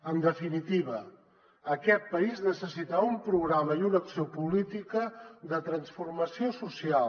en definitiva aquest país necessita un programa i una acció política de transformació social